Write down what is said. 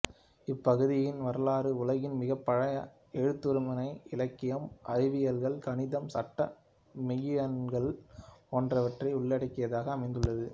இப்பகுதியின் வரலாறு உலகின் மிகப் பழைய எழுத்துமுறை இலக்கியம் அறிவியல்கள் கணிதம் சட்டம் மெய்யியல்கள் போன்றவற்றை உள்ளடக்கியதாக அமைந்துள்ளது